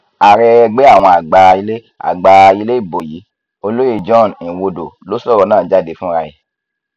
ààrẹ ẹgbẹ àwọn àgbà ilé àgbà ilé ibo yìí olóyè john nwodo ló sọrọ náà jáde fura ẹ